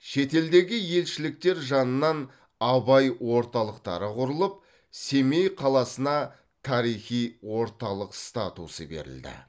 шетелдегі елшіліктер жанынан абай орталықтары құрылып семей қаласына тарихи орталық статусы берілді